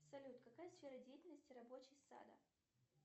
салют какая сфера деятельности рабочий сада